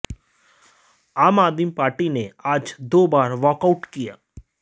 आम आदमी पार्टी ने आज दो बार वाकआऊट किया